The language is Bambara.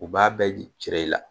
U b'a bɛɛ jira i la